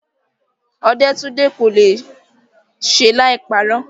Ọdẹ́túndé kò le è ṣe láì parọ́.